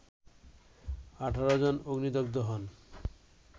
১৮ জন অগ্নিদগ্ধ হন